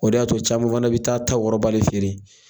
O de y'a to caman fana bɛ taa'a ta wɔrɔbali feere.